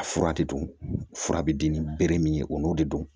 A fura de don fura bɛ di ni bere min ye o n'o de don